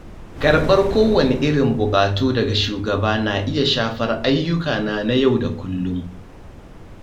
Karɓar kowanne irin buƙatu daga shugaba na iya shafar ayyukana na yau da kullum.